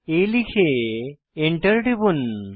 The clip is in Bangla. aলিখে Enter টিপুন